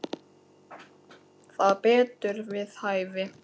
Það var betur við hæfi.